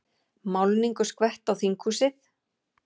Málningu skvett á þinghúsið